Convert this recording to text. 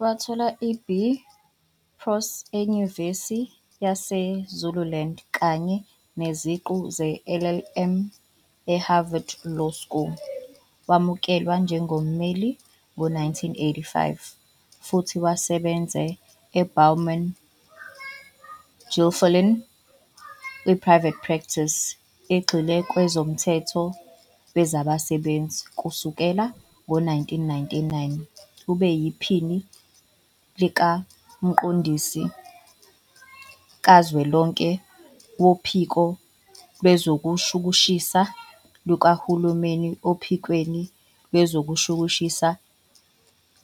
Wathola iB Proc eNyuvesi yaseZululand kanye neziqu zeLLM eHarvard Law School. Wamukelwa njengommeli ngo-1985 futhi wasebenza e-Bowman Gilfillan ku-private practice, egxile kwezomthetho wezabasebenzi. Kusukela ngo-1999 ube yiPhini likaMqondisi Kazwelonke Wophiko Lwezokushushisa Likahulumeni ophikweni Lwezokushushisa